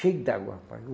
Cheio d'água, rapaz.